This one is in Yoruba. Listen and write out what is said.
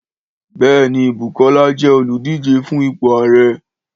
Béèni, Bùkọ́lá jẹ olùdíje fun ipò Ààrẹ.